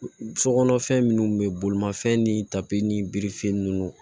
So kɔnɔ fɛn minnu bɛ bolimafɛn ni tapi ni birifini ninnu